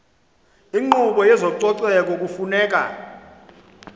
inkqubo yezococeko kufuneka